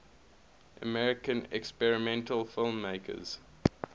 american experimental filmmakers